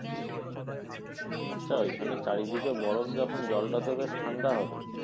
আচ্ছা ঐখানে চারিদিকে বরফ যখন জলটা তো বেশ ঠাণ্ডা হবে।